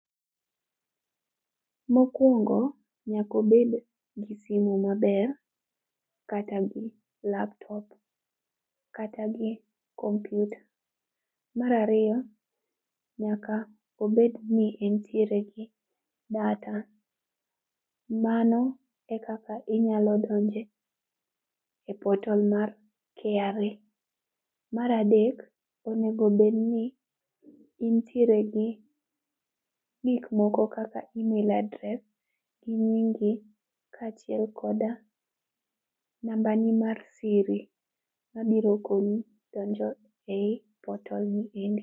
Mokwongo, nyaka obed gi simu maber kata laptop kata gi kompyuta. Mar ariyo, nyaka obed ni entiere gi data. Mano e kaka inyalo donjo e portal mar KRA. Mar adek, onego bedni intiere gi gik moko kaka email address gi nyingi kaachiel koda namba ni mar siri mabiro konyi donjo ei portal ni endi.